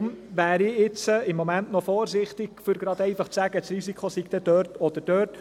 Deshalb wäre ich jetzt im Moment noch zu vorsichtig, um einfach zu sagen, das Risiko sei dort oder dort.